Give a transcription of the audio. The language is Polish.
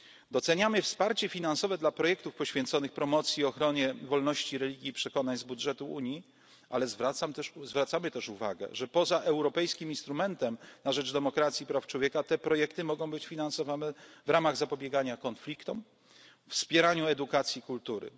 w ten proces. Doceniamy wsparcie finansowe dla projektów poświęconych promocji i ochronie wolności religii i przekonań z budżetu Unii, ale zwracamy też uwagę, że poza europejskim instrumentem na rzecz demokracji praw człowieka te projekty mogą być finansowane w ramach zapobiegania konfliktom, wspierania edukacji